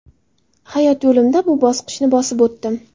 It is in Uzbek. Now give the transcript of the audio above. Hayot yo‘limda bu bosqichni bosib o‘tdim.